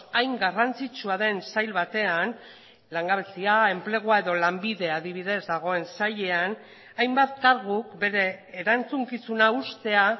hain garrantzitsua den sail batean langabezia enplegua edo lanbide adibidez dagoen sailean hainbat karguk bere erantzukizuna uztea